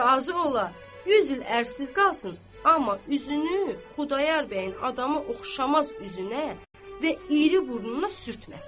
razı ola, 100 il ərsiz qalsın, amma üzünü Xudayar bəyin adamı oxşamaz üzünə və iri burnuna sürtməsin.